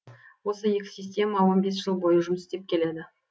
осы екі система он бес жыл бойы жұмыс істеп келеді